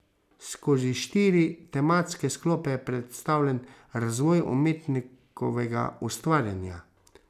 Skozi štiri tematske sklope je predstavljen razvoj umetnikovega ustvarjanja.